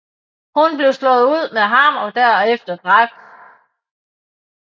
Hun blev slået ud med hammer og derefter dræbt